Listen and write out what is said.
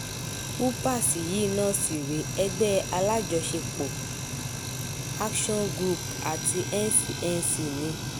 upas yìí náà sì rèé ẹgbẹ́ alájọṣepọ̀ action group àti ncnc ni